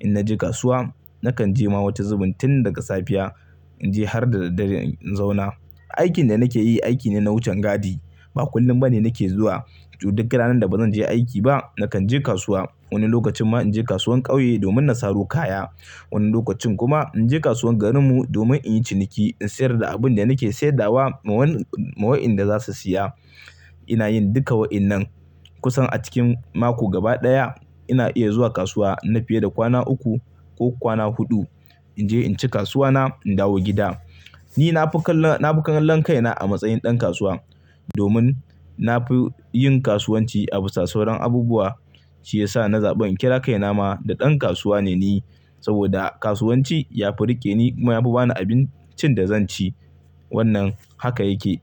In naje kasuwa, nakan je ma wata zubin tun daga safiya in je har da daddare in zauna. Aikin da nake yi aiki ne na wucen gadi. Ba kullum bane nake zuwa. Duk ranar da bazan je aiki ba, nakan je kasuwa. Wani lokacin ma in je kasuwar ƙauye domin na saro kaya. Wani lokacin kuma in je kasuwar garinmu domin in yi ciniki, in sayar da abin da nake saidawa ma wayen da za su siya. Ina yin duka wa'inan. Kusan a cikin mako gaba ɗaya ina iya zuwa kasuwa na fiye da kwana uku ko kwana huɗu in je in ci kasuwa na in dawo gida. Ni na fi kallon kaina a matsayin ɗan kasuwa domin na fi yin kasuwanci a bisa sauran abubuwa. Shi ya sa na zabe in kira kaina ma da ɗan kasuwa ne ni saboda kasuwanci ya fi rike ni kuma ya fi bani abincin da zan ci. Wannan haka yake.